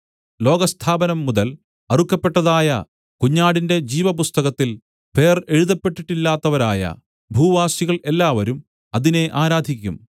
ലോകസ്ഥാപനം മുതൽ അറുക്കപ്പെട്ടതായ കുഞ്ഞാടിന്റെ ജീവപുസ്തകത്തിൽ പേർ എഴുതപ്പെട്ടിട്ടില്ലാത്തവരായ ഭൂവാസികൾ എല്ലാവരും അതിനെ ആരാധിക്കും